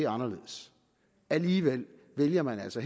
anderledes alligevel vælger man altså